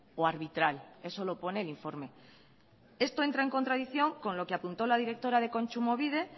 o arbitral eso lo pone el informe esto entra en contradicción con lo que apuntó la directora de kontsumobide